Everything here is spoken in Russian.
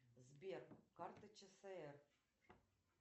сбер карта чср